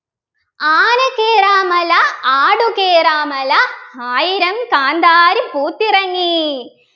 ആനകേറാമല ആടുകേറാമല ആയിരം കാന്താരി പൂത്തിറങ്ങി